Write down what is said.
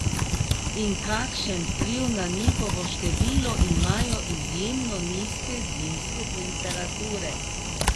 In kakšen vpliv na njihovo število imajo izjemno nizke zimske temperature?